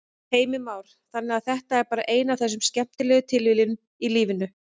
Heimir Már: Þannig að þetta er bara ein af þessum skemmtilegu tilviljunum í lífinu?